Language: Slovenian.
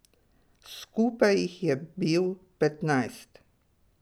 Skupaj jih je bil petnajst.